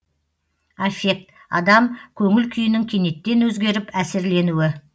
аффект адам көңіл күйінің кенеттен өзгеріп әсерленуі